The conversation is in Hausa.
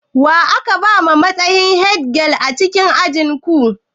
Wa aka bawa matsayi headgirl a ajin ku?